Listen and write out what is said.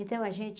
Então a gente...